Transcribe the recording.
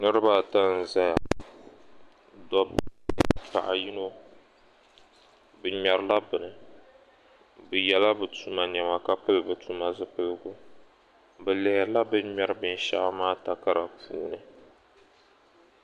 Niriba ata zaya dabba ayi paɣa yino bɛ mɛrila bɛni bɛ yela bɛ tumani nema ka pili bɛ tumani zupiligu bɛ lihiri bɛ mɛri binshɛɣu maa takara puuni